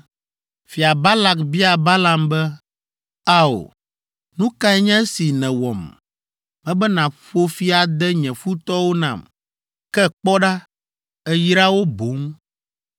Fia Balak bia Balaam be, “Ao! Nu kae nye esi nèwɔm? Mebe nàƒo fi ade nye futɔwo nam, ke kpɔ ɖa, èyra wo boŋ!”